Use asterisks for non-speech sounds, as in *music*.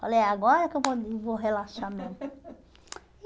Falei, agora que eu vou e vou relaxar mesmo. *laughs*